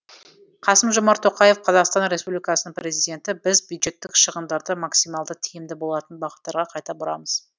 қасым жомарт тоқаев қазақстан республикасының президенті біз бюджеттік шығындарды максималды тиімді болатын бағыттарға қайта бұрамыз